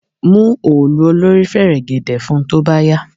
Mú òòlù olórí fẹ̀rẹ̀gẹ̀dẹ̀ fun tó bá yá!